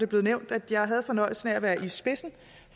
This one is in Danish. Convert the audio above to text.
blevet nævnt at jeg havde fornøjelsen af at være i spidsen